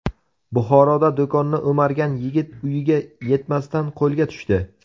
Buxoroda do‘konni o‘margan yigit uyiga yetmasdan qo‘lga tushdi.